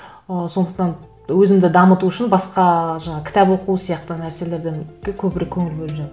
ы сондықтан өзімді дамыту үшін басқа жаңа кітап оқу сияқты нәрселерден көбірек көңіл бөліп